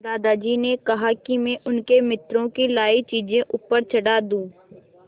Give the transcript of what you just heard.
दादाजी ने कहा कि मैं उनके मित्रों की लाई चीज़ें ऊपर चढ़ा दूँ